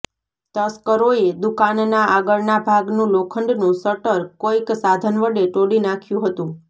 તસ્કરોએ દુકાનના આગળના ભાગનું લોખંડનું શટર કોઇક સાધન વડે તોડી નાંખ્યું હતંુ